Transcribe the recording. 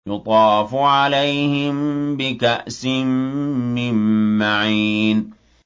يُطَافُ عَلَيْهِم بِكَأْسٍ مِّن مَّعِينٍ